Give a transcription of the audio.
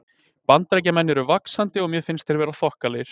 Bandaríkjamenn eru vaxandi og mér finnst þeir vera þokkalegir.